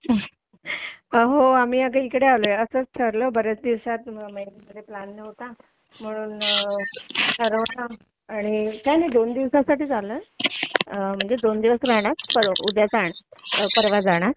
होगा मी इकडे आलोय असंच बऱ्याच दिवसाचं प्लॅन नव्हता म्हणून ठरवून काही नाही दोन दिवसासाठी आलो आहे दोन दिवस राहणार उद्या परवा जाणार